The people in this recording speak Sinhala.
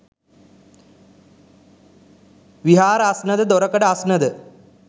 විහාර අස්නද, දොරකඩ අස්න ද